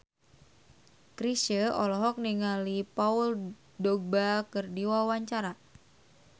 Chrisye olohok ningali Paul Dogba keur diwawancara